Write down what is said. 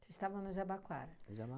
Vocês estavam no Jabaquara?